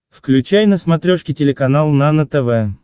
включай на смотрешке телеканал нано тв